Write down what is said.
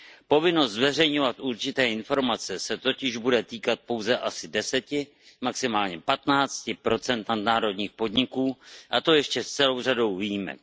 Povinnost zveřejňovat určité informace se totiž bude týkat pouze asi 10, maximálně 15 nadnárodních podniků, a to ještě s celou řadou výjimek.